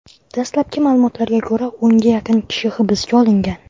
Dastlabki ma’lumotlarga ko‘ra, o‘nga yaqin kishi hibsga olingan.